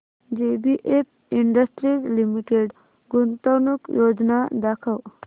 JBF industries limited गुंतवणूक योजना दाखव